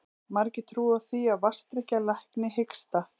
Margir trúa því að vatnsdrykkja lækni hiksta.